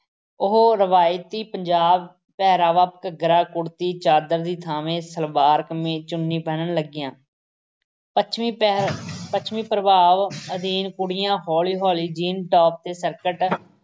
ਉਹ ਰਵਾਇਤੀ ਪੰਜਾਬੀ ਪਹਿਰਾਵਾ ਘੱਗਰਾ, ਕੁੜਤੀ, ਚਾਦਰ ਦੀ ਥਾਂਵੇਂ ਸਲਵਾਰ-ਕਮੀਜ਼, ਚੁੰਨੀ ਪਹਿਨਣ ਲੱਗੀਆਂ। ਪੱਛਮੀ ਪਹਿਰ ਪੱਛਮੀ ਪ੍ਰਭਾਵ ਅਧੀਨ ਕੁੜੀਆਂ ਹੌਲੀ-ਹੌਲੀ ਜੀਨ-ਟੌਪ ਤੇ ਸਕਰਟ-